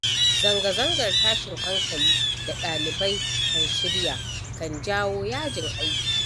Zanga-zangar tashin hankali da ɗalibai kan shirya, kan janyo yajin aiki.